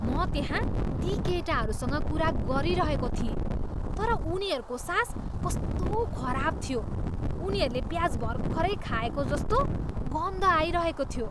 म त्यहाँ ती केटाहरूसँग कुरा गरिरहेको थिएँ तर उनीहरूको सास कस्तो खराब थियो। उनीहरूले प्याज भर्खरै खाएको जस्तो गन्ध आइरहेको थियो।